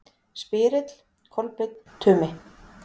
Spyrill: Kolbeinn Tumi